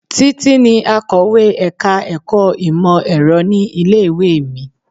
Títí ni akọ̀wé ẹ̀ka-ẹ̀kọ́ ìmọ̀-Ẹ̀rọ ní ilé-ìwé mi.